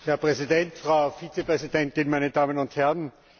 Herr Präsident, Frau Vizepräsidentin, meine Damen und Herren!